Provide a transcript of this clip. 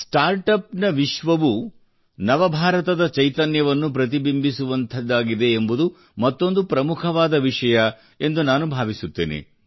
startups ವಿಶ್ವವು ನವಭಾರತದ ಚೈತನ್ಯವನ್ನು ಪ್ರತಿಬಿಂಬಿಸುವಂಥದ್ದಾಗಿದೆ ಎಂಬುದು ಮತ್ತೊಂದು ಪ್ರಮುಖವಾದ ವಿಷಯ ಎಂದು ನಾನು ಭಾವಿಸುತ್ತೇನೆ